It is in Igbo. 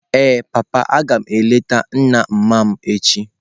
Ee papa, aga m eleta nna mma mu echi.